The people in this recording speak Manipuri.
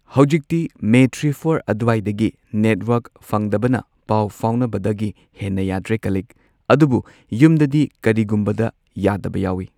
ꯍꯧꯖꯤꯛꯇꯤ ꯃꯦ ꯊ꯭ꯔꯤ ꯐꯣꯔ ꯑꯗꯨꯋꯥꯏꯗꯒꯤ ꯅꯦꯠꯋꯥꯔꯛ ꯐꯪꯗꯕꯅ ꯄꯥꯎ ꯐꯥꯎꯅꯕꯗꯒꯤ ꯍꯦꯟꯅ ꯌꯥꯗ꯭ꯔꯦ ꯀꯂꯤꯛ ꯑꯗꯨꯕꯨ ꯌꯨꯝꯗꯗꯤ ꯀꯔꯤꯒꯨꯝꯕꯗ ꯌꯥꯗꯕ ꯌꯥꯎꯏ꯫